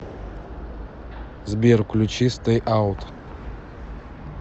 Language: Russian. сбер включи стэй аут